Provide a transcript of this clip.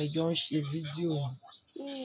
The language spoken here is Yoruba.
ẹ jọ ń ṣe fídíò.